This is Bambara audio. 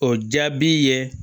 O jaabi ye